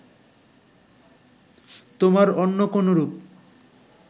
তোমার অন্য কোনরূপ